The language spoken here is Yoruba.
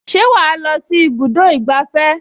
Ṣé wàá lọ sí ibùdó ìgbafẹ́?